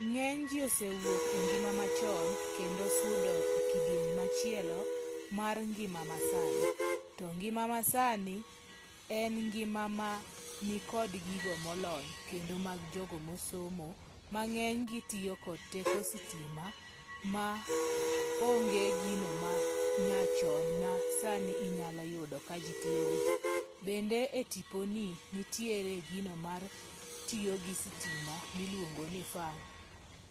Ng'eny ji osewuok e ngima ma chon kendo sudo e kidieny machielo mar ngima ma sani. To ngima masani en ngima ma nikod gigo molony kendo mag jogo mosomo ma ng'eny gi tiyo kod teko sitima. Ma onge gino ma nyachon ma sani inyalo yudo ka ji tiyogo. Bende e tiponi nitiere gino matiyo gi sitima miluongo ni fan.